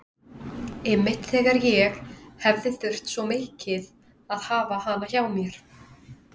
Einmitt þegar ég hefði þurft svo mikið að hafa hana hjá mér.